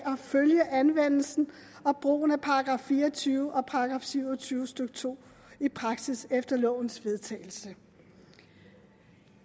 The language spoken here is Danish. følge anvendelsen og brugen af § fire og tyve og § syv og tyve stykke to i praksis efter lovens vedtagelse